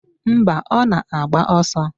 Mba, ọ na-agba ọsọ